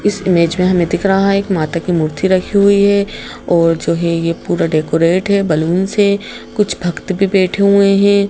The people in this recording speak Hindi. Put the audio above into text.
इस इमेज में हमें दिख रहा है एक माता की मूर्ति रखी हुई है और जो है ये पूरा डेकोरेट है बलून से कुछ भक्त भी बैठे हुए हैं।